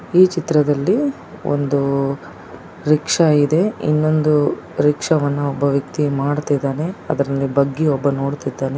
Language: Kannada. ಈ ಚಿತ್ರದಲ್ಲಿ ಒಂದು ರಿಕ್ಷಾ ಇದೆ. ಇನೊಂದು ರಿಕ್ಷಾವನ್ನು ಒಬ್ಬ ವ್ಯಕ್ತಿ ಮಾಡ್ತಾ ಇದ್ದಾನೆ ಅದ್ನ ಬಗ್ಗಿ ಒಬ್ಬ ನೋಡ್ತಾ ಇದ್ದಾನೆ.